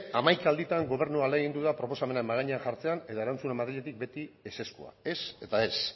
hamaika alditan gobernua ahalegindu da proposamenak mahai gainean jartzean eta erantzuna madriletik beti ezezkoa ez eta ez